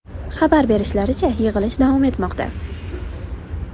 Xabar berishlaricha, yig‘ilish davom etmoqda.